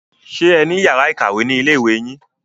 Ṣé ẹ ní yàrá ìkàwé ni ilé ìwé yín?